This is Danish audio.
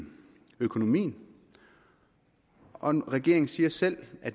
økonomien og regeringen siger selv at